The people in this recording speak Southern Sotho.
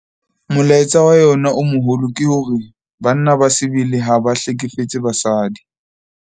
Molaetsa wa yona o moholo ke hore 'Banna ba sebele ha ba hlekefetse basadi'.